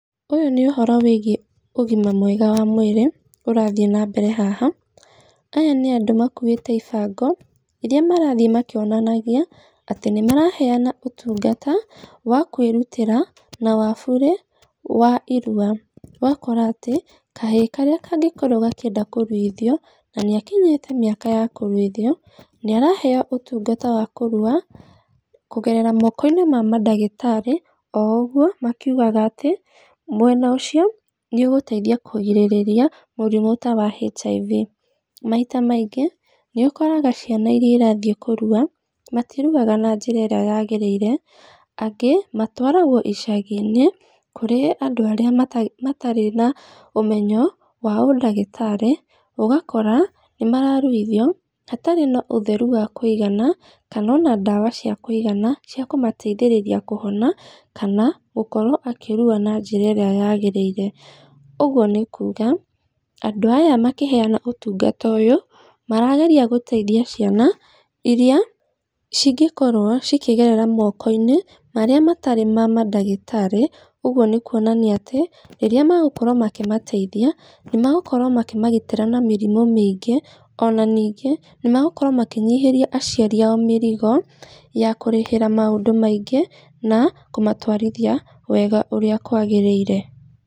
Ũyũ nĩ ũhoro wĩgiĩ, ũgima mwega wa mwĩrĩ, ũrathiĩ na mbere haha, aya nĩandũ makuĩte ibango, iria marathiĩ makĩonanagia, atĩ nĩ maraheana ũtungata, wa kwĩrutĩra, na wa bure wa iruwa, ũgakora atĩ, kahĩ karĩa kangĩkorwo gakĩenda kũruithio, na nĩ akinyĩte mĩaka ya kũruithio, nĩaraheyo ũtungata ma kũruwa kũgerera moko-inĩ mama ndagĩtarĩ o ũguo makiugaga atĩ mwena ũcio nĩ ũgũteithia kũrigĩrĩria mũrimũ ta wa HIV, maita maingĩ nĩ ũkoraga ciana iria irathiĩ kũruwa, matiruwaga na njĩra ĩrĩa yagĩrĩire, angĩ matwaragwo icagi-inĩ, kũrĩ andũ aria mata matarĩ na ũmenyo wa ũndagĩtarĩ, ũgakora nĩ mararuithio hatarĩ na ũtheru wa kwĩigana, kana ona ndawa cia kwĩigana, cia kũmateithĩrĩria kũhona, kana gũkorwo akĩruwa na njĩra ĩrĩa yagĩrĩire, ũguo nĩ kuga, andũ aya makĩhena ũtungata ũyũ, marageria gũteithia ciana iria cigĩkorwo cikĩgerera moko-inĩ marĩa matarĩ mama ndagĩtarĩ, ũguo nĩ kuonania atĩ rĩrĩa megũkorwo makĩmateithia, nĩ megũkorwo makĩmagitĩra na mĩrimũ mĩingĩ, ona ningĩ nĩ megũkorwo makĩnyihĩria aciari ao mĩrigo ya kũrĩhĩra maũndũ maingĩ, na, kũmatwarithia, wega ũrĩa kwagĩrĩire.